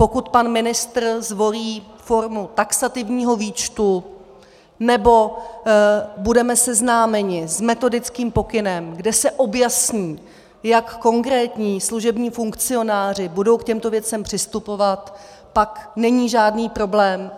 Pokud pan ministr zvolí formu taxativního výčtu, nebo budeme seznámeni s metodickým pokynem, kde se objasní, jak konkrétní služební funkcionáři budou k těmto věcem přistupovat, pak není žádný problém.